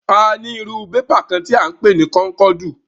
A ní irú bébà kán tí à ń pè ní kónkọ̀dù.